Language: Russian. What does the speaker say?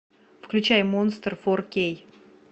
включай монстр фор кей